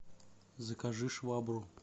закажи швабру